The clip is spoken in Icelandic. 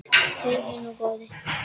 Heyrðu nú, góði!